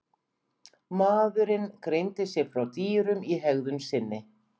Maðurinn greindi sig frá dýrum í hegðun sinni.